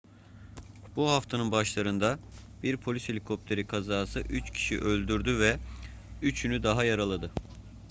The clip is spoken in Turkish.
bu haftanın başlarında bir polis helikopteri kazası üç kişiyi öldürdü ve üçünü daha yaraladı